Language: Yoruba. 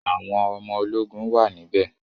Àwọn ọmọ ológun wà níbẹ̀